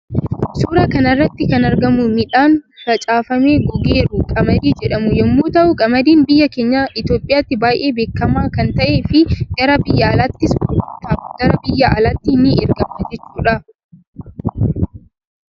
Suuraa kanarratti kan argamu miidhaan facaafamee gogeeru qamadii jedhamu yommuu ta'u qamadin biyya keenya itoophiyatti baay'ee beekama kan ta'e fi gara biyya alaattis gurgurtaaf gara biyya alaatti ni ergama jechuudha.